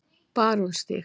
Barónsstíg